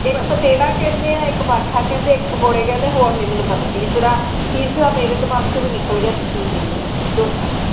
ਇਕ ਪਤੇੜ੍ਆ ਕਹਿੰਦੇ ਆ ਇੱਕ ਬਾਠਾ ਕਹਿੰਦੇ ਆ ਇੱਕ ਪਕੌੜੇ ਕਹਿੰਦੇ ਆ ਹੋਰ ਨਹੀਂ ਮੈਨੂੰ ਪਤਾ ਤੀਸਰਾ ਤੀਸਰਾ ਮੇਰੇ ਦਿਮਾਗ ਚੋ ਵੀ ਨਿਕਲ ਗਿਆ ਬੀ ਕੀ ਕਹਿੰਦੇ ਆ ਚੋਥਾ।